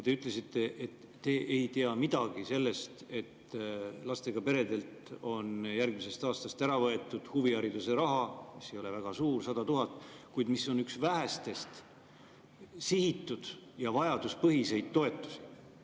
Te ütlesite, et te ei tea midagi sellest, et lastega peredelt on järgmisest aastast ära võetud huvihariduse raha, mis ei ole väga suur, 100 000, kuid mis on üks vähestest sihitud ja vajaduspõhistest toetustest.